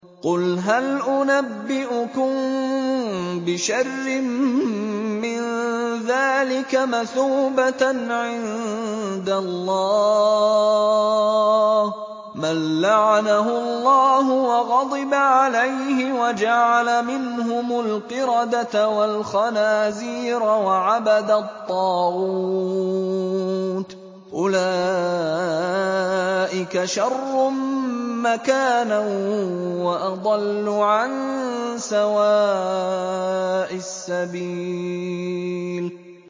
قُلْ هَلْ أُنَبِّئُكُم بِشَرٍّ مِّن ذَٰلِكَ مَثُوبَةً عِندَ اللَّهِ ۚ مَن لَّعَنَهُ اللَّهُ وَغَضِبَ عَلَيْهِ وَجَعَلَ مِنْهُمُ الْقِرَدَةَ وَالْخَنَازِيرَ وَعَبَدَ الطَّاغُوتَ ۚ أُولَٰئِكَ شَرٌّ مَّكَانًا وَأَضَلُّ عَن سَوَاءِ السَّبِيلِ